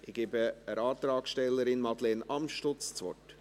Ich gebe der Antragstellerin Madeleine Amstutz das Wort.